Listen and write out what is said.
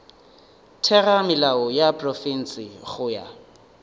theramelao ya profense go ya